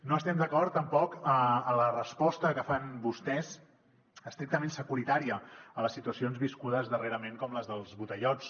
no estem d’acord tampoc en la resposta que fan vostès estrictament securitària a les situacions viscudes darrerament com les dels botellots